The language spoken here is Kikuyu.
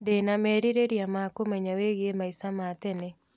Ndĩna merirĩria ma kũmenya wĩgiĩ maica ma tene.